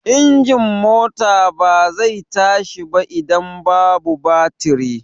Injin mota ba zai tashi ba idan babu batiri.